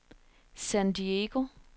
San Diego